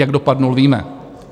Jak dopadl, víme.